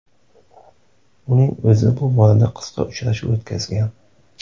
Uning o‘zi bu borada qisqa uchrashuv o‘tkazgan.